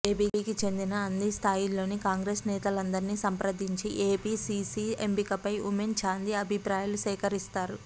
ఏపీకి చెందిన అన్నీ స్థాయిల్లోని కాంగ్రెస్ నేతలందరినీ సంప్రదించి ఏపీసీసీ ఎంపికపై ఉమెన్ చాందీ అభిప్రాయాలు సేకరిస్తారు